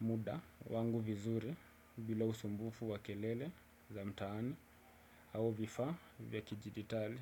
muda wangu vizuri bila usumbufu wa kelele za mtaani au vifaa vya kijiditali.